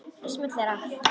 Og smellir af.